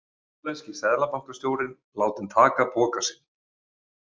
Hollenski seðlabankastjórinn látinn taka poka sinn